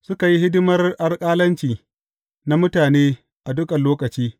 Suka yi hidimar alƙalanci na mutane a dukan lokaci.